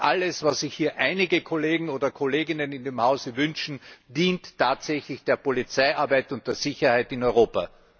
Nicht alles, was sich hier einige Kolleginnen oder Kollegen im Hause wünschen, dient tatsächlich der Polizeiarbeit und der Sicherheit in Europa.